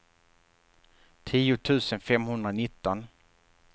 tio tusen femhundranitton